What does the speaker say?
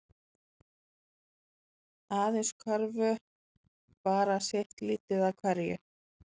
Aðeins körfu bara sitt lítið af hverju